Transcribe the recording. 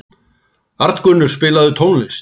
Arngunnur, spilaðu tónlist.